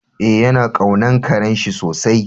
Eh, ya na kaunan karen shi sosai.